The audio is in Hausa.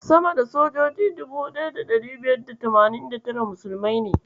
Sama da sojoji 1589 musulmai ne.